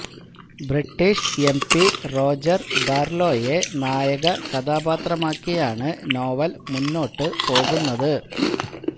British MP Roger ബാര്ലോയെ നായക കഥാപാത്രമാക്കിയാണ് നോവല് മുന്നോട്ട പോകുന്നത്